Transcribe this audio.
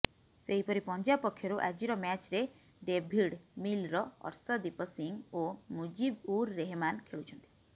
ସେହିପରି ପଞ୍ଜାବ ପକ୍ଷରୁ ଆଜିର ମ୍ୟାଚ୍ରେ ଡେଭିଡ୍ ମିଲର ଅର୍ଶଦୀପ ସିଂହ ଓ ମୁଜିବ ଉର ରେହମାନ ଖେଳୁଛନ୍ତି